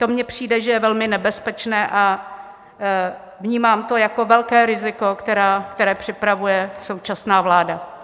To mně přijde, že je velmi nebezpečné, a vnímám to jako velké riziko, které připravuje současná vláda.